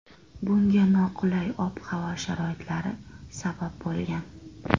Bunga noqulay ob-havo sharoitlari sabab bo‘lgan .